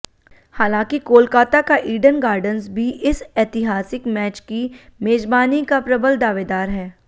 हालांकि कोलकाता का Eden Gardens भी इस ऐतिहासिक मैच की मेजबानी का प्रबल दावेदार है